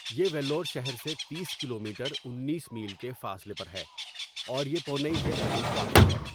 یہ ویلور شہر سے تیس کلومیٹر انیس میل کے فاصلے پر ہے اور یہ پونئی کے قریب واقع ہے.